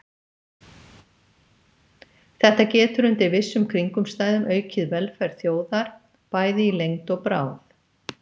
Þetta getur undir vissum kringumstæðum aukið velferð þjóðar, bæði í lengd og bráð.